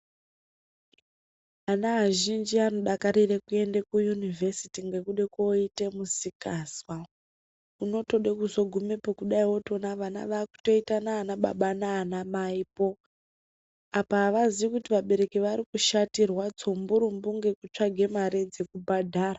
Ana azhinji anodakarire kuenda kuyunivhesiti nekuda kunoite musikanzwa unotode kuzogumepo wotoona vana vakutoitana ana baba nana amaipo apa hawaziwe kuti vabereki varikushatirwa tsumburumbu ngekutsvake mari dzekubhadhara.